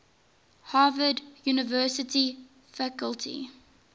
harvard university faculty